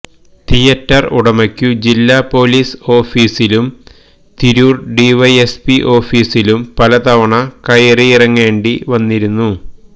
theatre ഉടമയ്ക്കു ജില്ലാ police ഓഫിസിലും തിരൂർ ഡിവൈഎസ്പി ഓഫിസിലും പലതവണ കയറിയിറങ്ങേണ്ടിവന്നിരുന്നു